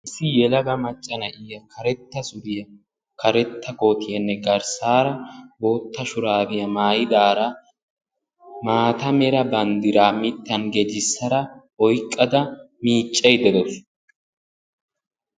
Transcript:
Issi yelaga macca na"iyaa karetta suriyaa karetta koottiyaanne garssaara bootta shuraabiya maayidaara maata mera banddiraa mittan gedissada oyqqada miiccaydda de"awusu.